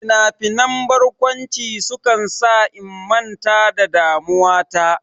Finafinan barkwanci sukan sa in manta da damuwa ta.